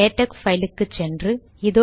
LaTeX file க்கு சென்று